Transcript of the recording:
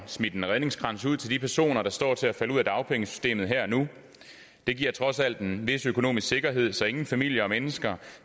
smidt en redningskrans ud til de personer der står til at falde ud af dagpengesystemet det giver trods alt en vis økonomisk sikkerhed så ingen familier og mennesker